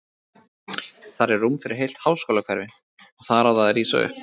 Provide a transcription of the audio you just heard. Þar er rúm fyrir heilt háskólahverfi, og þar á það að rísa upp.